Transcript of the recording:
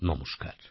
নমস্কার